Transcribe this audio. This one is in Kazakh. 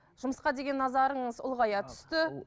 жұмысқа деген назарыңыз ұлғая түсті